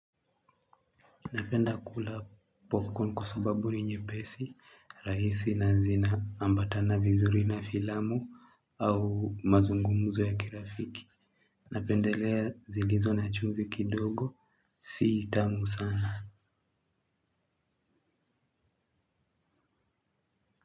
Napenda kula popcorn kwa sababu ni nyepesi, rahisi na zin ambatana vizuri na filamu au mazungumuzo ya kirafiki. Napendelea zilizo na chumvi kidogo, si tamu sana.